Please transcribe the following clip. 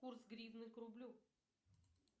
курс гривны к рублю